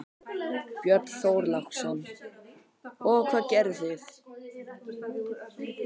Björn Þorláksson: Og hvað gerðu þið?